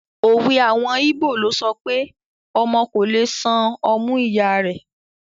Òwe àwọn ìbó ló sọpé “ ọmọ kò le san ọmú ìya rẹ̀.